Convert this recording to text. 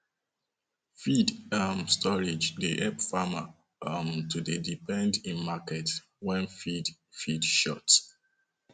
feed um storage dey help farmer um to dey depend in market when feed feed short um